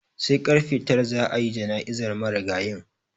Sai karfe tara za a yi jana'izar marigayin.